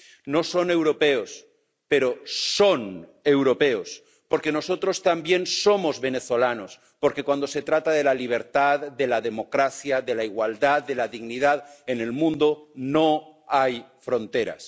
No son europeos, pero son europeos, porque nosotros también somos venezolanos, porque, cuando se trata de la libertad, de la democracia, de la igualdad, de la dignidad en el mundo, no hay fronteras.